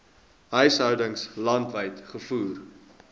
huishoudings landwyd gevoer